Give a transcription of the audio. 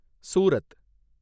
Surat